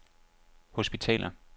hospitaler